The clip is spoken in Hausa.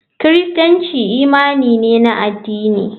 Kiristanci imani ne na addini.